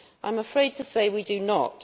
I am afraid to say we do not.